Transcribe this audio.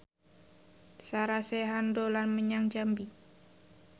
Sarah Sechan dolan menyang Jambi